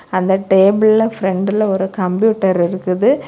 அந்த டேபிள்ல பிரண்டுல ஒரு கம்ப்யூட்டர் இருக்குது.